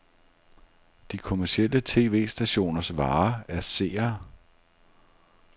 De kommercielle tv-stationers vare er seere.